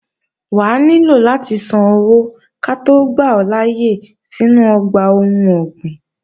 Wà á nílò láti san owó ká tó gbà ọ́ láyé sínú ọgbà ohun ọ̀gbìn